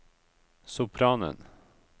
sopranen